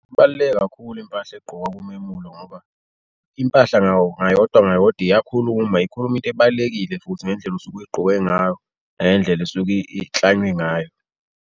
Ibaluleke kakhulu impahla egqokwa kumemulo ngoba impahla ngawo, ngayodwa ngayodwa iyakhuluma, ikhuluma into ebalulekile futhi ngendlela osuke uyigqoke ngayo nangendlela esuke iklanywe ngayo.